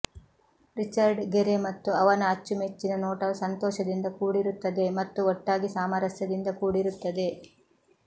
Richard Gere ಮತ್ತು ಅವನ ಅಚ್ಚುಮೆಚ್ಚಿನ ನೋಟವು ಸಂತೋಷದಿಂದ ಕೂಡಿರುತ್ತದೆ ಮತ್ತು ಒಟ್ಟಾಗಿ ಸಾಮರಸ್ಯದಿಂದ ಕೂಡಿರುತ್ತದೆ